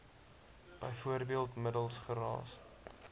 bv middels geraas